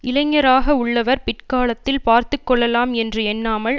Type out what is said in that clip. இளைஞராக உள்ளவர் பிற்காலத்தில் பார்த்து கொள்ளலாம் என்று எண்ணாமல்